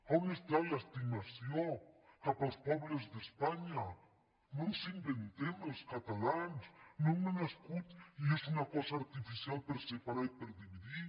a on està l’estimació cap als pobles d’espanya no ens inventem els catalans no hem nascut i és una cosa artificial per separar i per dividir